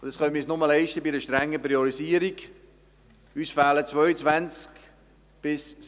Diese können wir uns nur dank einer strengen Priorisierung leisten.